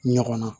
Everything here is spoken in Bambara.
Ɲɔgɔn na